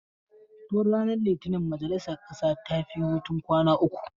Tun ranar litinin majalisar ƙasa tafi hutun kwana uku.